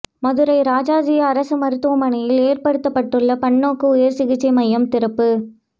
மதுரை ராஜாஜி அரசு மருத்துவமனையில் ஏற்படுத்தப்பட்டுள்ள பன்னோக்கு உயர் சிகிச்சை மையம் திறப்பு